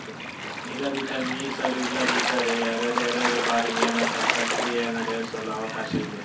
ನಿಗದಿತ ಮೀಸಲು ಇಲ್ಲದಿದ್ದರೆ ಎರಡೆರಡು ಬಾರಿ ನೇಮಕ ಪ್ರಕ್ರಿಯೆ ನಡೆಸಲು ಅವಕಾಶ ಇದೆ